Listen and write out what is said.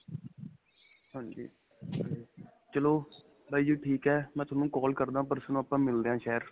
ਹਾਂਜੀ, ਚਲੋ ਬਾਈ ਜੀ ਠੀਕ ਹੈ. ਮੈਂ ਤੁਹਾਨੂੰ call ਕਰਦਾ ਪਰਸੋੰ ਨੂੰ ਆਪਾਂ ਮਿਲਦੇ ਆ ਸ਼ਹਿਰ.